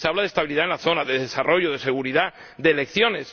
Se ha hablado de estabilidad en la zona, de desarrollo, de seguridad, de elecciones